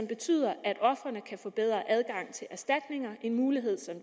betyde at ofrene kan få bedre adgang til erstatning en mulighed som